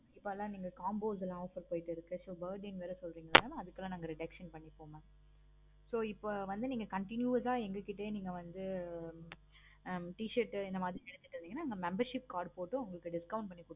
இப்போல்லாம் நீங்க combo's லாம் offer போய்கிட்டு இருக்கு. நீங்க வேற birrthday வேற சொல்றிங்க அதுக்கெல்லாம் நாங்க reduction பண்ணி தருவோம். so இப்போ வந்து நீங்க continuos ஆஹ் எங்க கிட்ட வந்து t-shirt இந்த மாதிரி தெரிஞ்சிகிட்டீங்கனா membership இந்த மாதிரி உங்களுக்கு discount